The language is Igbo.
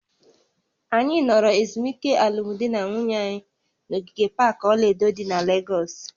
Anyị nọrọ ezumike alụmdi na nwunye anyị na ogige pak ọla edo dị na Legọsị